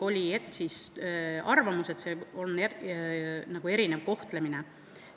Oli arvamus, et see on nagu erinev kohtlemine.